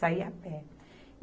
Saí a pé.